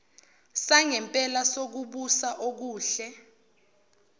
sangempela sokubusa okuhle